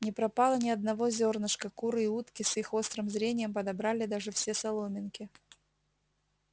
не пропало ни одного зёрнышка куры и утки с их острым зрением подобрали даже все соломинки